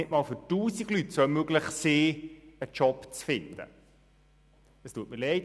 Im Jahr 2014 hat die SVP in einem Strategiepapier klargemacht, wohin der Weg gehen soll.